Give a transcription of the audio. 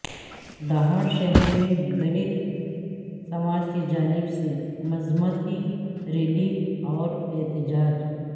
دھاڑشہر میں دلت سماج کی جانب سے مذمتی ریلی اوراحتجاج